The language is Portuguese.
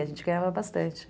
A gente ganhava bastante.